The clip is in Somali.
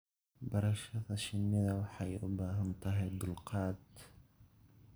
Barashada shinida waxay u baahantahay dulqaad.